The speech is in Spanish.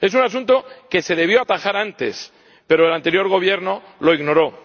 Es un asunto que se debió atajar antes, pero el anterior Gobierno lo ignoró.